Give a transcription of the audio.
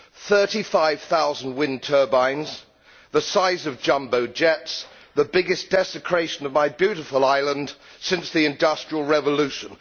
Thirty five thousand wind turbines the size of jumbo jets, the biggest desecration of my beautiful island since the Industrial Revolution.